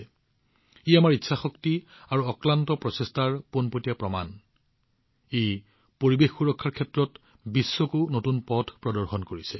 আনহাতে এয়া আমাৰ ইচ্ছাশক্তি আৰু অক্লান্ত প্ৰচেষ্টাৰ প্ৰত্যক্ষ প্ৰমাণ যদিও ই বিশ্বক পৰিৱেশ সুৰক্ষাৰ দিশত এক নতুন পথ দেখুৱাবলৈ গৈ আছে